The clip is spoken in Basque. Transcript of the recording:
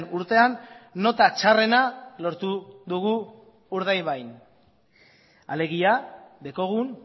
urtean nota txarrena lortu dugu urdaibain alegia daukagun